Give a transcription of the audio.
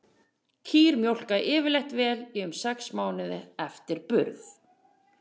Kýr mjólka yfirleitt vel í um sex mánuði eftir burð.